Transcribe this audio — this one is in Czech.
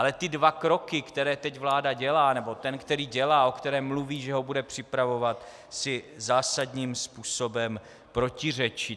Ale ty dva kroky, které teď vláda dělá, nebo ten, který dělá, o kterém mluví, že ho bude připravovat, si zásadním způsobem protiřečí.